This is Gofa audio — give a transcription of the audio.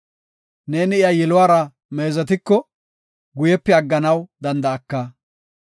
Neeni iya yiluwara meezetiko, guyepe agganaw danda7aka.